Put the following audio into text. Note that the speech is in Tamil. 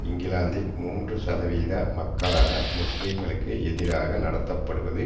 இங்கிலாந்தின் மூன்று சதவிகித மக்களான முஸ்லிம்களுக்கு எதிராக நடத்தப்படுவது